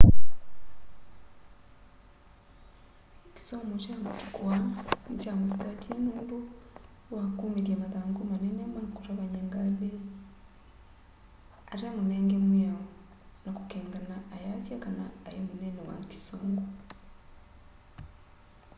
kĩsomo kya matũkũ aa nĩkya mũsĩkatĩe nũndũ was kũmĩthya mathangũ manene ma kũtavanya ngalĩ ate mũnenge mwĩao na kũkeng'ana ayasya kana aĩ mũnene wa kĩsũngũ